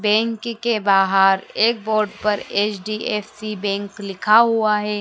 Bank के बाहर एक बोर्ड पर एच_डी_एफ_सी बैंक लिखा हुआ है।